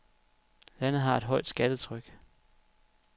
Landet har et højt skattetryk.